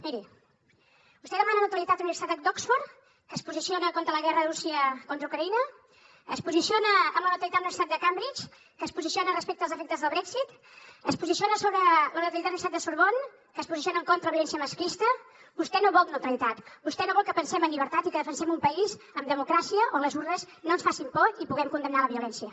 miri vostè demana neutralitat a la universitat d’oxford que es posiciona contra la guerra de rússia contra ucraïna es posiciona amb la neutralitat amb la universitat de cambridge que es posiciona respecte els efectes del brexit es posiciona sobre la neutralitat de la universitat de sorbonne que es posiciona en contra de la violència masclista vostè no vol neutralitat vostè no vol que pensem en llibertat i que defensem un país amb democràcia on les urnes no ens facin por i puguem condemnar la violència